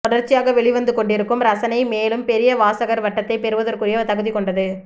தொடர்ச்சியாக வெளிவந்துகொண்டிருக்கும் ரசனை மேலும் பெரிய வாசகர் வட்டத்தை பெறுவதற்குரிய தகுதி கொண்டது